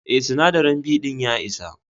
Eh, sinadari B din ya isa.